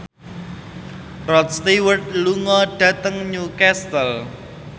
Rod Stewart lunga dhateng Newcastle